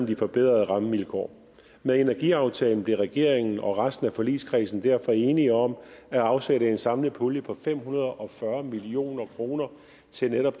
de forbedrede rammevilkår med energiaftalen blev regeringen og resten af forligskredsen derfor enige om at afsætte en samlet pulje på fem hundrede og fyrre million kroner til netop